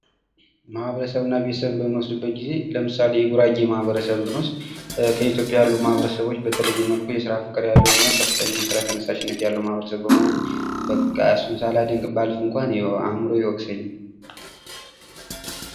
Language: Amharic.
ማህበረ ሰብ እና ቤተሰብን በምንወስድበት ጊዜ ለምሳሌ የጉራጌ ማህበረሰብን ብንወስድ በኢትዮጵያ ያሉ ማህበረሰቦች በተለየ መልኩ የስራ ፍቅር ያለው እና ከፍተኛ የስራ ተነሳሽነት ያለው ማህበረሰብ በመሆኑ በቃ እሱን ሳላደንቅ ባልፍ እንኳ አእምሮዬ ይወቅሰኛል።